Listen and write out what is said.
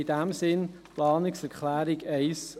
in diesem Sinn die Planungserklärung 1 der SAK.